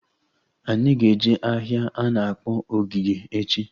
Anyị ga eje ahịa a na-akpọ Ogige echi